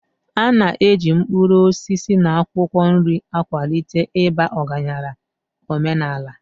A na-eji mkpụrụ osisi na akwụkwọ nri akwalite ịba ọgaranya omenala.